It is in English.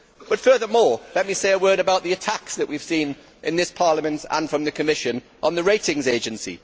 But furthermore, let me say a word about the attacks that we have seen in this Parliament, and from the Commission, on the ratings agency.